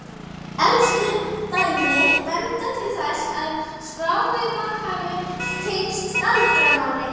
elstu dæmi benda til þess að skráveifa hafi tengst galdramáli